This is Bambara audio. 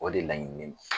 O de laɲininen don